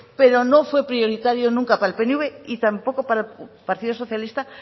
pero no fue prioritario nunca para el pnv y tampoco para el partido socialista